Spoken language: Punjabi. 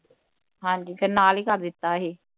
ਹਾਂਜੀ ਫਿਰ ਨਾਲ ਹੀ ਕਰ ਦਿੱਤਾ ਹੀ